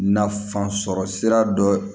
Nafan sɔrɔ sira dɔ